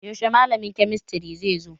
Yaushe malamin kemistry zai zo?